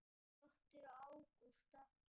Þín dóttir, Ágústa.